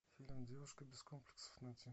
фильм девушка без комплексов найти